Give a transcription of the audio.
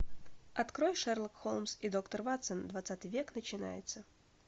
открой шерлок холмс и доктор ватсон двадцатый век начинается